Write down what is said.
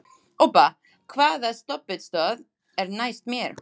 Obba, hvaða stoppistöð er næst mér?